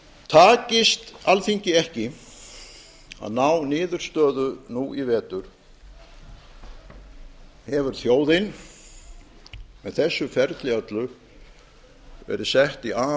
takist alþingi ekki að ná niðurstöðu nú í vetur hefur þjóðin með þessu ferli öllu verið sett í